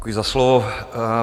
Děkuji za slovo.